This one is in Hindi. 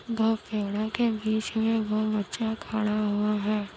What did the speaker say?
दो पेड़ों के बीच में वह बच्चा खड़ा हुआ है।